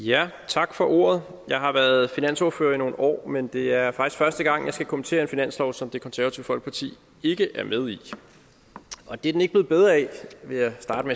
tak for ordet jeg har været finansordfører i nogle år men det er første gang jeg skal kommentere en finanslov som det konservative folkeparti ikke er med i og det er den ikke blevet bedre af vil jeg starte